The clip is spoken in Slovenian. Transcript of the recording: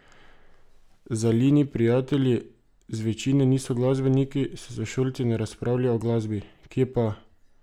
Zalini prijatelji zvečine niso glasbeniki, s sošolci ne razpravlja o glasbi: "Kje pa!